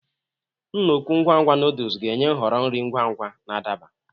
Nna-ukwu ngwa ngwa noodles ga-enye nhọrọ nri ngwa ngwa na adaba.